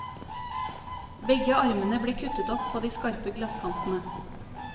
Begge armene ble kuttet opp på de skarpe glasskantene.